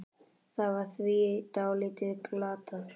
Það var því dálítið glatað.